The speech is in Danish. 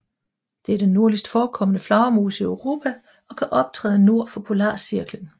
Det er den nordligst forekommende flagermus i Europa og kan optræde nord for polarcirklen